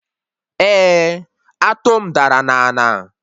Eh, atụ m dara na ana